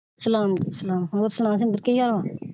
ਸਲਾਮ ਸਲਾਮ ਹੋਰ ਸੁਣਾ ਕੀ ਹਾਲ ਆ।